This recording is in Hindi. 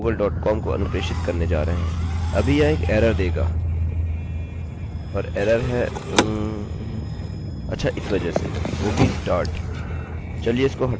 और एररerror है oh! um अच्छा इस वजह से o b start